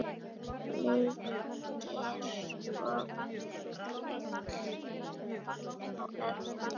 Leikir og grill á eftir.